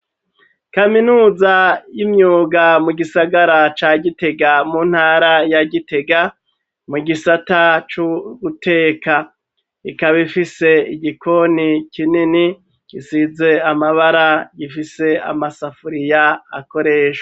Kaminuza y'imyuga mu gisagara ca gitega mu ntara ya gitega mu gisata c'uguteka ikaba ifise igikoni kinini gisize amabara, gifise amasafuriya akoreshwa.